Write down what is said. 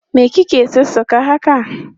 Me ki ke sassaka haka?